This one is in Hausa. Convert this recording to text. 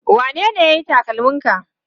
Wanene ya yi takalminka?